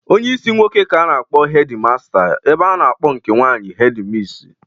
Onyeisi nwoke ka a na-akpọ hedi master ebe a na-akọ nke nwaanyị hedi misi.